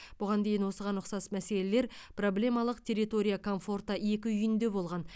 бұған дейін осыған ұқсас мәселелер проблемалық территория комфорта екі үйінде болған